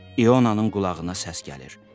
İonanın qulağına səs gəlir.